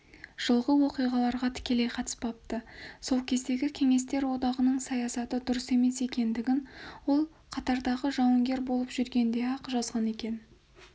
жылғы оқиғаға тікелей қатысыпты сол кездегі кеңестер одағының саясаты дұрыс емес екендігін ол қатардағы жауынгер болып жүргенде-ақ жазған екен